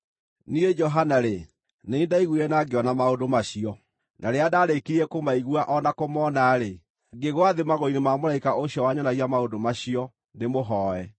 Niĩ, Johana-rĩ, nĩ niĩ ndaiguire na ngĩona maũndũ macio. Na rĩrĩa ndaarĩkirie kũmaigua o na kũmona-rĩ, ngĩgwa thĩ magũrũ-inĩ ma mũraika ũcio wanyonagia maũndũ macio ndĩmũhooe.